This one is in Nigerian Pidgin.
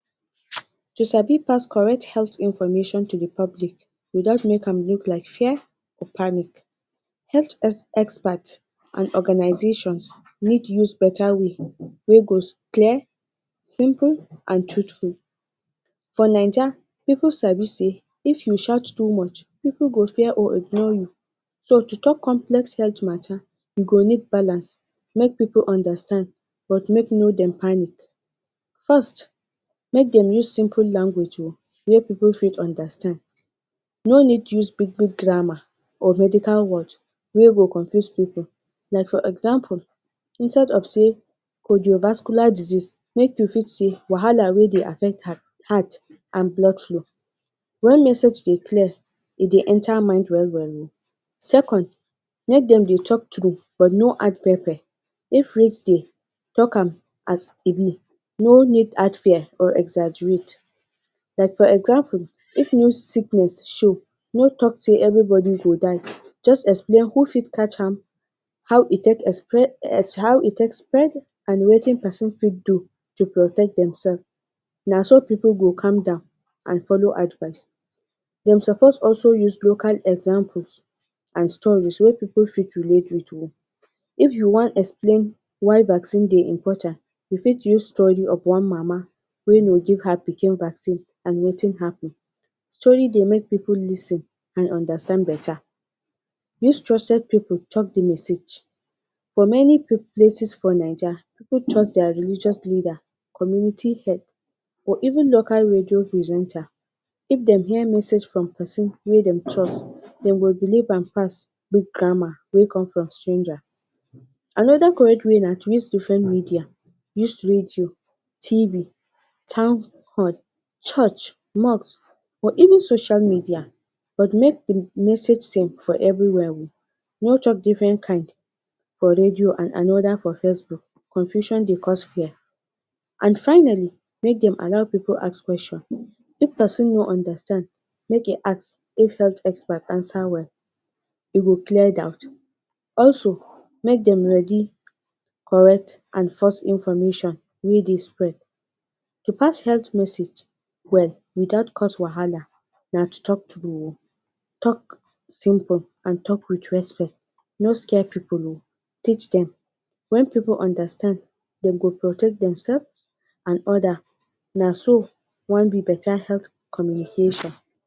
you sabi pass correct health information to de public wit out make am like fear or panic health expert and organisations need use better way wey go clear simple and trutful for naija pipo sabi say if you shout tu much pipo go fear or ignor you so to tok complex health matter you go need balance make pipo understand but make no make dem panic. forst make den use simple language o wey pipo fit understand no need use big big grammar or medical words wey go confuse pipo like for example instead of say pojiodivascular disease make you fit say wahala wey dey affect heart heart and blood flow wen message dey clear e dey enter mind well wel o. second, make den dey tok tru but no add pepper if risk dey talk am as e be no need add fear or exaggerate like for example if new sickness show no tok say every body go die, just explain who fit catach am, how e take espre es how e take spread and watin person fit do to protet dem sef, na so pipo go calm down and follow advice dem suppose also fi use local examples and stories wey pipo fit relate wit o, if you wan explain why backsin dey important you fit use story of one mama wey no give her pikin backsin and watin happen, story dey make pipo lis ten and understand better. use trusted pipo tok di message for meni pip places for naija pipo trust dier religious leader, community head or even local radio presenter if den hear message from pesin wey den trust den go beliv am pass bif grammar wey com from stranger. anoda cored way na to use different media, use radio, tv, town hall church, mosques or even social media but make di message sim for evri where o no tok different kaind for radio and anoda for facebook, confusion dey cause fear and finally make den allow pipo ask question if pesin no understand make e ask if health expert answer well e go clear doubt also make den ready correct and false information wey dey spread to pass health message well without cause wahala na tu tok tru o, tok simple and to tok wit respect no scare pipo o teach dem wen pipo understand dem go protect dem sef and oda na so one be better health communicator